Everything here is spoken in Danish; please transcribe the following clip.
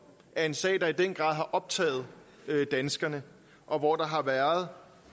er en sag der i den grad har optaget danskerne og hvor der har været